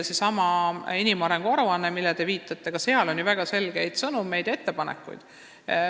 Sellessamas inimarengu aruandes, millele te viitate, on ju väga selgeid sõnumeid ja ettepanekuid.